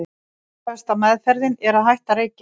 nauðsynlegasta „meðferðin“ er að hætta að reykja